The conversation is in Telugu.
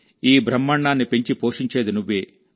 ఈ బ్రహ్మాండాన్ని పెంచి పోషించేది నువ్వే